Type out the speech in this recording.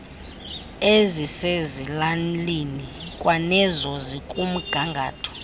ezisezilalini kwanezo zikumgangatho